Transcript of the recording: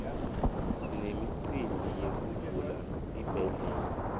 sinemicimbi yekuvula tibhedlela